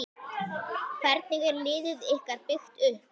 Hvernig er liðið ykkar byggt upp?